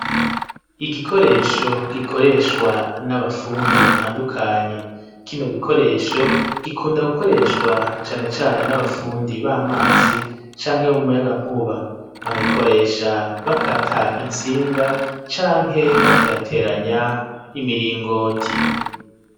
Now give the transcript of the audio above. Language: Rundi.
Igikoresho gikoreshwa n'abafundi batandukanye kino gikoresho gikunda gukoreshwa canecane n'abafundi b'amazi canke bo mu muyaga nkuba bakagikoresha bakata intsinga canke baterateranya imiringoti.